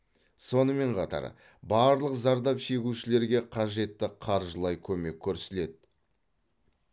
сонымен қатар барлық зардап шегушілерге қажетті қаржылай көмек көрсіледі